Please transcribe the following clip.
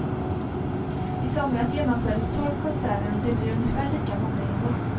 I somras genomfördes tolv konserter och det blir ungefär lika många i år.